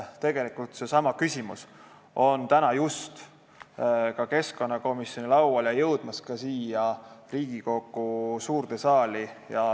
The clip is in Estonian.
Tegelikult on seesama küsimus jõudmas keskkonnakomisjoni lauale ja ka siia Riigikogu suurde saali.